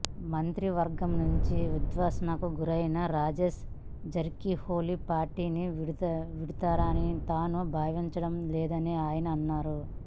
మంత్రివర్గం నుంచి ఉద్వాసనకు గురైన రాజేష్ జార్కిహోలీ పార్టీని వీడుతారనని తాను భావించడం లేదని ఆయన అన్నారు